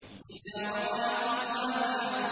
إِذَا وَقَعَتِ الْوَاقِعَةُ